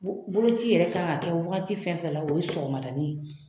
Boloci yɛrɛ kan ka kɛ waati fɛn fɛn na o ye sɔgɔmadanin ye